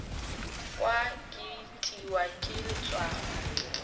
kwa ke itiwa ke letswalo